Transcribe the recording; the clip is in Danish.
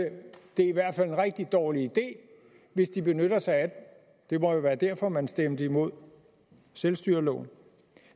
det i hvert fald er en rigtig dårlig idé hvis de benytter sig af den det må være derfor at man stemte imod selvstyreloven